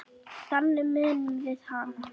Þannig munum við hana.